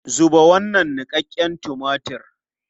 Zuba wannan niƙaƙƙen tumatir!